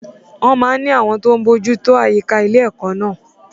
Wọ́n máa n ní àwọn tó n bójú tó àyíká ilé ẹkọ naa